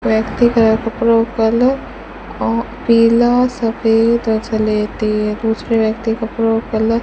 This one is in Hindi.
व्यक्ति के कपड़ो का कलर को पीला सफेद और दूसरे व्यक्ति कपड़ो कलर --